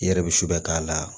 I yɛrɛ bɛ su bɛ k'a la